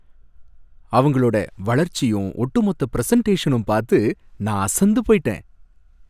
அவங்களோட வளர்ச்சியும் ஒட்டுமொத்த பிரசன்டேஷனும் பார்த்து நான் அசந்து போயிட்டேன்.